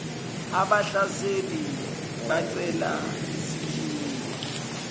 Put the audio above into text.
abahlaseli becela isikhiye